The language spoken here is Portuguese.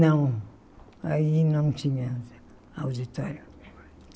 Não, aí não tinha auditório.